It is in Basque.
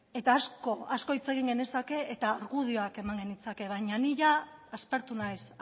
eta asko hitz egin genezake eta argudioak eman genitzake gainera baina ni jada aspertu naiz